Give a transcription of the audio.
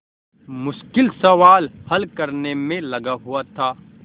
मुश्किल सवाल हल करने में लगा हुआ था